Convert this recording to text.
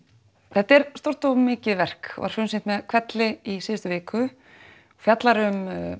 þetta er stórt og mikið verk og var frumsýnt með hvelli í síðustu viku fjallar um